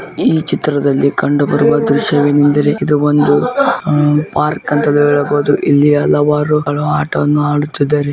ಈ ಚಿತ್ರದಲ್ಲಿ ಕಂಡು ಬರುವ ದೃಶ್ಯವೇನೆಂದರೆ ಇದು ಒಂದು ಆ-- ಪಾರ್ಕ್ ಅಂತಲೂ ಹೇಳಬಹುದು ಅಥವಾ ಇಲ್ಲಿ ಹಲವಾರು ಗಳು ಆಟವನ್ನು ಆಡುತ್ತಿದ್ದಾರೆ--